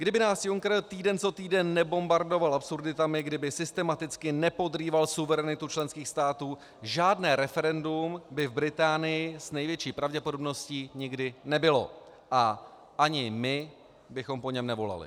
Kdyby nás Juncker týden co týden nebombardoval absurditami, kdyby systematicky nepodrýval suverenitu členských států, žádné referendum by v Británii s největší pravděpodobností nikdy nebylo a ani my bychom po něm nevolali.